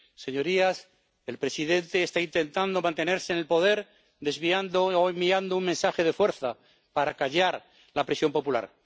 Señorías, el presidente está intentando mantenerse en el poder, desviando o enviando un mensaje de fuerza para acallar la presión popular.